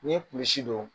N'i ye kulusi don